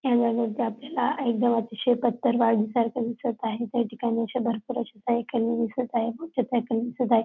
Camera मध्ये आपल्याला एकदम अतिशय पत्थरबाजी सारख दिसत आहे त्या ठिकाणी अशा भरपूर अशा काही दिसत आहे दिसत आहे.